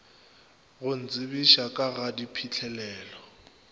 go ntsebiša ka ga diphihlelelo